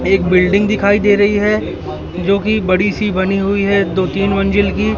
एक बिल्डिंग दिखाई दे रही है जो कि बड़ी सी बनी हुई है दो तीन मंजिल की--